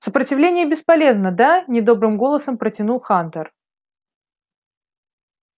сопротивление бесполезно да недобрым голосом протянул хантер